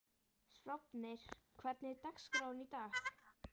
Sváfnir, hvernig er dagskráin í dag?